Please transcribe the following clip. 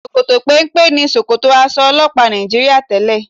Ṣòkòtò péńpé ni ṣòkòtò aṣọ ọlọ́pàá Nàìjííríà tẹ́lẹ̀